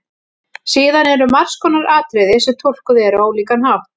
Síðan eru margs konar atriði sem túlkuð eru á ólíkan hátt.